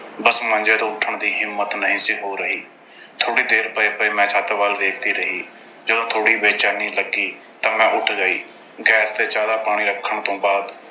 ਬੱਸ ਮੰਜੇ ਤੋਂ ਉੱਠਣ ਦੀ ਹਿੰਮਤ ਨਹੀਂ ਸੀ ਹੋ ਰਹੀ। ਥੋੜ੍ਹੀ ਦੇਰ ਪਏ-ਪਏ ਮੈਂ ਛੱਤ ਵੱਲ ਵੇਖਦੀ ਰਹੀ। ਜਦੋਂ ਥੋੜ੍ਹੀ ਬੇਚੈਨੀ ਲੱਗੀ ਤਾਂ ਮੈਂ ਉੱਠ ਗਈ। gas ਤੇ ਚਾਹ ਦਾ ਪਾਣੀ ਰੱਖਣ ਤੋਂ ਬਾਅਦ